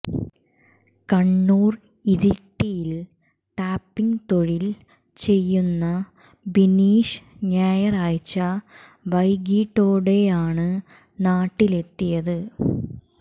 കണ്ണൂർ ഇരിട്ടിയിൽ ടാപ്പിങ് തൊഴിൽ ചെയ്യുന്ന ബിനീഷ് ഞായറാഴ്ച വൈകിട്ടോടെയാണ് നാട്ടിലെത്തിയത്